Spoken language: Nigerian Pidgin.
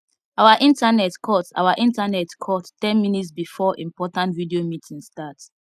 our internet cut our internet cut ten minutes before important video meeting start